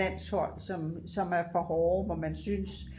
landshold som er for hårde hvor man synes